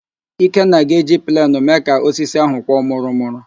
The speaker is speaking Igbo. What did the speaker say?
Ikenna ga-eji plenụ mee ka osisi ahụ kwọ mụrụ mụrụ